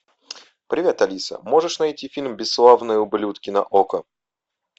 привет алиса можешь найти фильм бесславные ублюдки на око